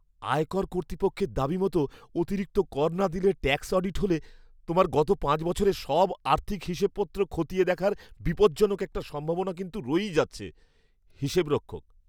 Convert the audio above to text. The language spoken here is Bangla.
আয়কর কর্তৃপক্ষের দাবিমতো অতিরিক্ত কর না দিলে ট্যাক্স অডিট হলে তোমার গত পাঁচ বছরের সব আর্থিক হিসেবপত্র খতিয়ে দেখার বিপজ্জনক একটা সম্ভাবনা কিন্তু রয়েই যাচ্ছে। হিসেবরক্ষক